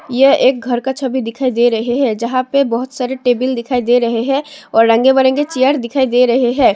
यह एक घर का छवि दिखाई दे रहे हैं जहां पे बहुत सारे टेबल दिखाई दे रहे हैं और रंग बिरंगे चेयर दिखाई दे रहे हैं।